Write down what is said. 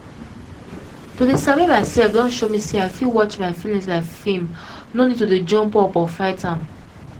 to dey sabi myself don show me say i fit watch my feelings like film no need to jump up or fight am